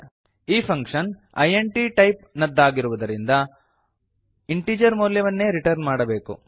ಈ function int type ನದ್ದಾಗಿರುವುದರಿಂದ integer ಮೌಲ್ಯವನ್ನೇ ರಿಟರ್ನ್ ಮಾಡಬೇಕು